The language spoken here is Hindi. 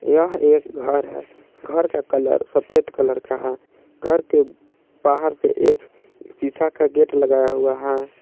यह एक घर है। घर का कलर सफ़ेद कलर का है। घर के बाहर से एक शीशा का गेट लगाया हुआ है।